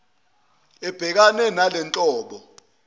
ledec ebhekane nalenhlobo